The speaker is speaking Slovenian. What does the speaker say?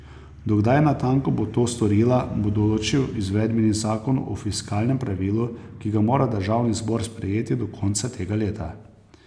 Do kdaj natanko bo to storila, bo določil izvedbeni zakon o fiskalnem pravilu, ki ga mora državni zbor sprejeti do konca tega leta.